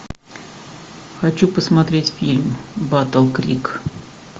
хочу посмотреть фильм батл крик